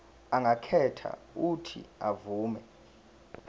angakhetha uuthi avume